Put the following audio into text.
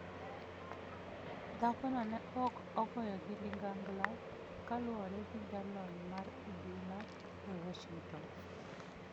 Dhakono ne ok ogoyo gi ligangla, kaluwore gi jalony mar obila e Washington.